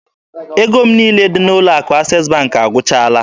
Ego m niile dị n'ụlọ akụ Access Bank agwụchaala